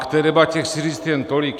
K té debatě chci říct jen tolik.